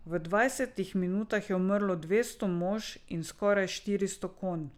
V dvajsetih minutah je umrlo dvesto mož in skoraj štiristo konj.